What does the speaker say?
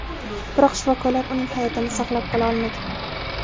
Biroq shifokorlar uning hayotini saqlab qola olmagan.